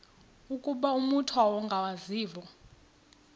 ukuba umut ongawazivo